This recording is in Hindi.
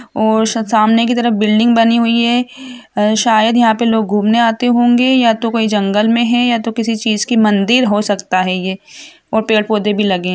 और सामने की तरफ बिल्डिंग बानी हुई हैं आ शायद यहाँ पे लोग गुमने आते होंगे या तो कोई जंगल में है या तो किसी चीज़ की मंदिर हो सकता हैं ये और पेड़ पौधे बी लगे हैं।